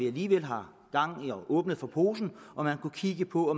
aligevel har åbnet for posen om man kunne kigge på